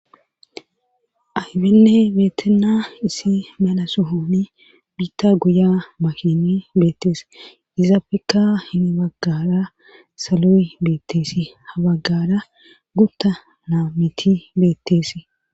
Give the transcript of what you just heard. abenne beetenna isi mala sohooni biitta guya makini beettees izaafeka hini baggara salo7i beetteesi habaggara gutta naa miti beetteesi